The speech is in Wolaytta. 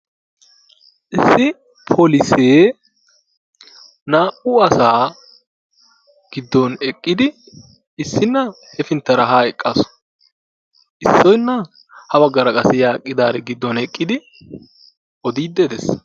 issi poolisse naa"u asaa giddon eqqidi issinaa heppintaara haa eqqaasu. issoynaa ha baggaara qassi yaa eqqidiaari giddon eqqidi ooddid de'ees.